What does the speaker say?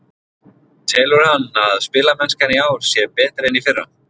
Telur hann að spilamennskan í ár sé betri en í fyrra?